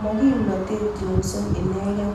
mo kimnatee Johnson inekee